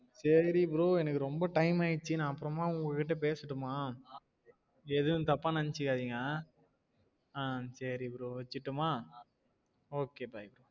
சரி bro எனக்கு ரெம்ப time ஆயிடுச்சு நான் அப்ரம்மா உங்க கிட்ட பேசட்டுமா எதும் தப்ப நினசிகாதிங் ஆஹ் சேரி bro வச்சிடட்டுமா okay bye